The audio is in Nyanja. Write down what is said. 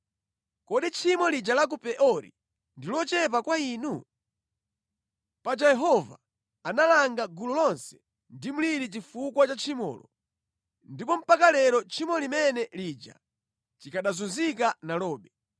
Kodi tchimo lija la ku Peori ndi lochepa kwa inu? Paja Yehova analanga gulu lonse ndi mliri chifukwa cha tchimolo, ndipo mpaka lero tchimo limene lija tikanazunzika nalobe.